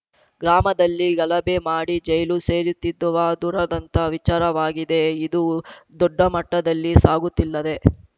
ಗ್ರಾಮದಲ್ಲಿ ಗಲಭೆ ಮಾಡಿ ಜೈಲು ಸೇರುತ್ತಿದುವಾ ದುರದಂತ ವಿಚಾರವಾಗಿದೆ ಇದು ದೊಡ್ಡಮಟ್ಟದಲ್ಲಿ ಸಾಗುತ್ತಿಲ್ಲದೆ